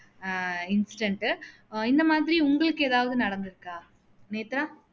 அஹ் incident உ இந்த மாதிரி உங்களுக்கு எதாவது நடந்துருக்கா நேத்ரா